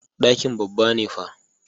Ɗakin babba ne fa.